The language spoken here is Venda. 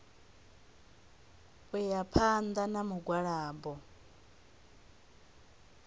u ya phanḓa na mugwalabo